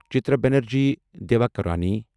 Chitra Banerjee Divakaruni